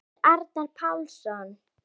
eftir Arnar Pálsson